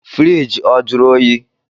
Fiirigi ọ jụrụ oyi?